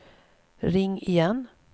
ring igen